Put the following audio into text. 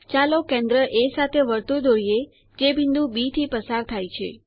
ચાલો કેન્દ્ર એ સાથે વર્તુળ દોરીએ જે બિંદુ બી થી પસાર થાય છે